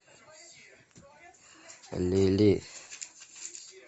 лили